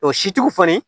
O sitigiw kɔni